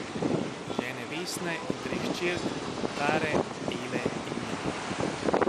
Žene Vesne in treh hčerk, Tare, Ele in Mile.